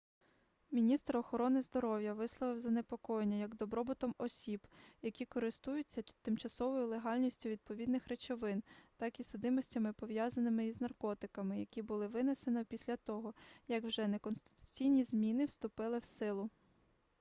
міністр охорони здоров'я висловив занепокоєння як добробутом осіб які користуються тимчасовою легальністю відповідних речовин так і судимостями пов'язаними із наркотиками які було винесено після того як вже неконституційні зміни вступили в силу